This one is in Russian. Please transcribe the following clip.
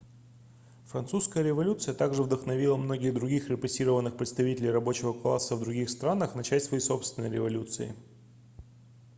французская революция также вдохновила многих других репрессированных представителей рабочего класса в других странах начать свои собственные революции